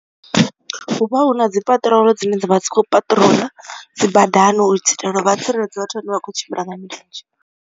Hu vha hu na dzi peṱirolo dzine dzavha dzi kho patrol dzi badani u dzi itela vha tsireledze vhathu vhane vha kho tshimbila nga milenzhe.